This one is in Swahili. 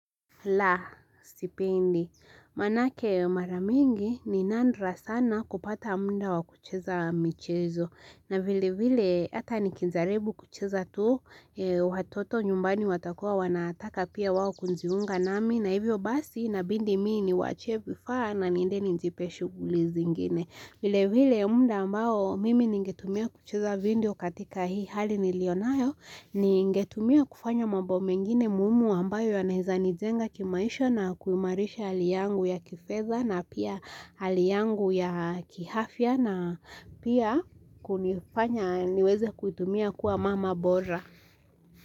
La, sipendi. Manake maramingi ni nadra sana kupata muda wa kucheza michezo. Na vile vile hata nikijaribu kucheza tu, watoto nyumbani watakua wanataka pia wao kujiunga nami. Na hivyo basi inabidi mii niwaachie vifaa na niende nijipe shuguli zingine. Vile vile muda ambao mimi ningetumia kucheza video katika hii hali nilionayo, ningetumia kufanya mambo mengine muhimu ambayo yanaeza nijenga kimaisha na kuimarisha hali yangu ya kifedha na pia hali yangu ya kiafya na pia kunifanya niweze kuitumia kuwa mama bora.